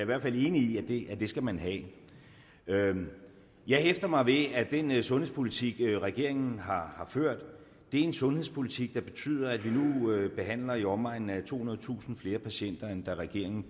hvert fald enig i at det skal man have jeg hæfter mig ved at den sundhedspolitik regeringen har ført er en sundhedspolitik der betyder at vi nu behandler i omegnen af tohundredetusind flere patienter end da regeringen